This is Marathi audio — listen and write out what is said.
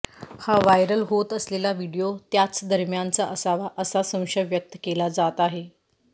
हा व्हायरल होत असलेला व्हिडीओ त्याच दरम्यानचा असावा असा संशय व्यक्त केला जात आहे